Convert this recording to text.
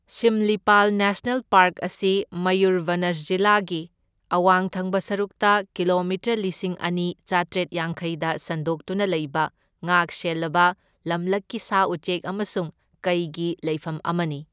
Simlipal national park ꯑꯁꯤ ꯃꯌꯨꯔꯚꯅꯖ ꯖꯤꯂꯥꯒꯤ ꯑꯋꯥꯡ ꯊꯪꯕ ꯁꯔꯨꯛꯇ ꯀꯤꯂꯣꯃꯤꯇꯔ ꯂꯤꯁꯤꯡ ꯑꯅꯤ ꯆꯥꯇ꯭ꯔꯦꯠ ꯌꯥꯡꯈꯩꯗ ꯁꯟꯗꯣꯛꯇꯨꯅ ꯂꯩꯕ ꯉꯥꯛ ꯁꯦꯜꯂꯕ ꯂꯝꯂꯛꯀꯤ ꯁꯥ ꯎꯆꯦꯛ ꯑꯃꯁꯨꯡ ꯀꯩꯒꯤ ꯂꯩꯐꯝ ꯑꯃꯅꯤ꯫